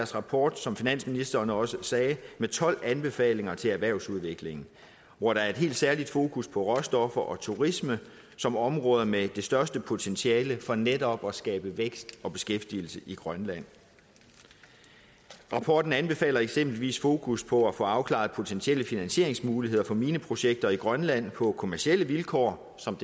rapport som finansministeren også sagde med tolv anbefalinger til erhvervsudvikling hvor der er et helt særlig fokus på råstoffer og turisme som områder med det største potentiale for netop at skabe vækst og beskæftigelse i grønland rapporten anbefaler eksempelvis et fokus på at få afklaret potentielle finansieringsmuligheder for mineprojekter i grønland på kommercielle vilkår som